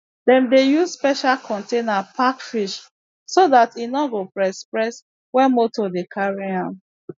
dem dey use special container pack fish so dat en no go press press wen moto dey carry am